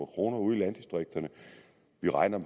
kroner ude i landdistrikterne vi regner